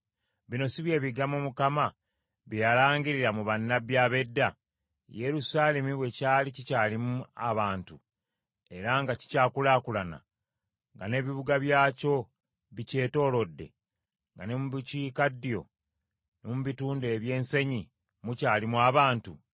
Bino si bye bigambo Mukama bye yalangirira mu bannabbi ab’edda, Yerusaalemi bwe kyali kikyalimu abantu era nga kikyakulaakulana, nga n’ebibuga byakyo bikyetoolodde, nga ne mu bukiikaddyo ne mu bitundu eby’ensenyi mukyalimu abantu?’ ”